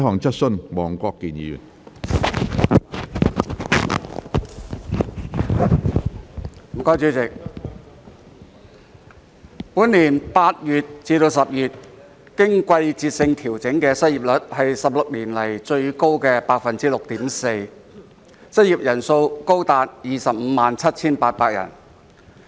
主席，本年8月至10月經季節性調整的失業率為16年來最高的百分之六點四，失業人數高達257800人。